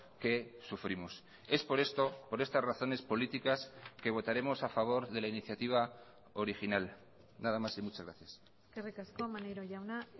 que sufrimos es por esto por estas razones políticas que votaremos a favor de la iniciativa original nada más y muchas gracias eskerrik asko maneiro jauna